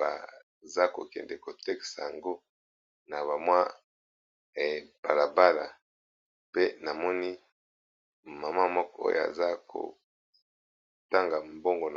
bazo kende KO tekisaka yango na balala pe maman moko azo pesa mbongo.